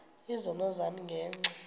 izono zam ngenxa